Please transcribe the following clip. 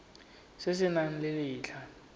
se se nang le letlha